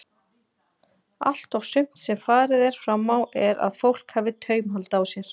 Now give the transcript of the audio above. Allt og sumt sem farið er fram á er að fólk hafi taumhald á sér.